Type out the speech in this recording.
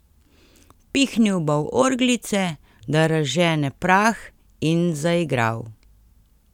Pihnil bo v orglice, da razžene prah, in zaigral.